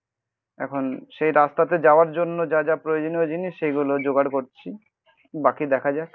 এখন সেই রাস্তাতে যাওয়ার জন্য যা যা প্রয়োজনীয় জিনিস সেইগুলো জোগাড় করছি. বাকি দেখা যাক